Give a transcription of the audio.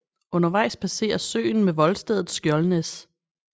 Undervejs passeres søen med voldstedet Skjoldnæs